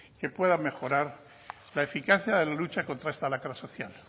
que pueda mejorar la eficacia de la lucha contra esta lacra social